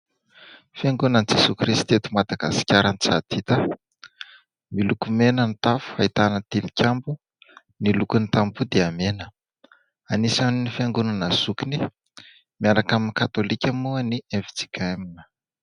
"Fiangonan'i jesoa kristy eto Madagasikara Antsahandita". Miloko mena ny tafo, ahitana tilikambo, ny lokony tamboho dia mena ; anisan'ny Fiangonana zokiny miaraka amin'ni Katolika moa ny FJKM.